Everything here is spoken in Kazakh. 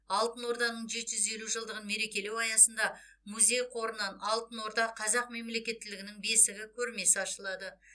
алтын орданың жеті жүз елі жылдығын мерекелеу аясында музей қорынан алтын орда қазақ мемлекеттілігінің бесігі көрмесі ашылады